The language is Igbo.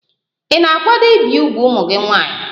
Ị na-akwado ibi úgwù ụmụ nwanyị?